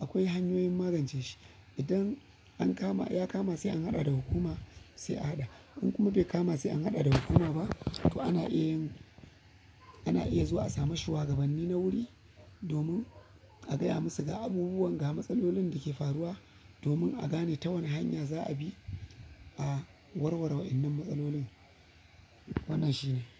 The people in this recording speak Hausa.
akwai hanyoyin magance shi. Idan an kama, ya kama sai an haɗa da hukuma sai a haɗa. In kuma bai kama sai an haɗa da hukuma ba to ana iya yin, ana iya zuwa a sami shugabanni na wuri domin a gaya musu ga abubuwan ga matsalolin da ke faruwa domin a gane ta wane hanya za a bi a warwara waɗannan matsalolin. Wannan shine.